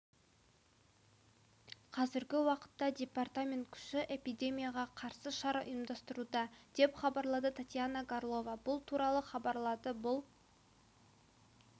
қазіргі уақытта департамент күші эпидемияға қарсы шара ұйымдастыруда деп хабарлады татьяна горлова бұл туралы хабарлады бұл